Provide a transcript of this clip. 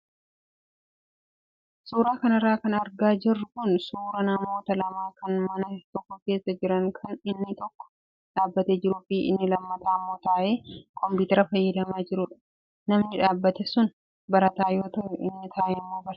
Suuraa kanarra kan argaa jirru kun suuraa namoota lama kan mana tokko keessa jiran kan inni tokko dhaabbatee jiruu fi inni lammataa immoo taa'ee kompiitara fayyadamaa jirudha. Namni dhaabbate sun barataa yoo ta'u, inni taa'e immoo barsiisaadha.